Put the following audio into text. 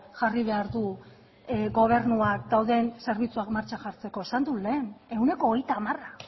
jarri behar du gobernuak dauden zerbitzuak martxan jartzeko esan dut lehen ehuneko hogeita hamara